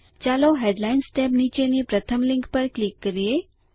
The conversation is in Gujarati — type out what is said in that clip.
ચાલો હેડલાઇન્સ ટેબ નીચેની પ્રથમ લીંક પર ક્લિક કરીએ